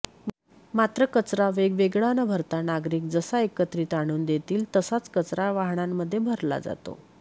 मात्र कचरा वेगवेगळा न भरता नागरिक जसा एकत्रित आणून देतील तसाच कचरा वाहनांमध्ये भरला जातो